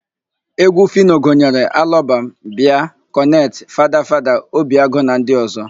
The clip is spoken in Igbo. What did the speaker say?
Égwú Fino gụnyere Alọbam, Bịa, Kọnet, Fada Fada, Obi Agụ na ndị ọ̀zọ́.